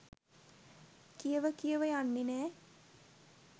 කියව කියව යන්නේ නැ.